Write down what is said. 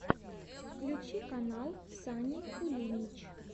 включи канал сани кулинич